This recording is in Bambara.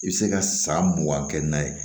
I bɛ se ka san mugan kɛ n'a ye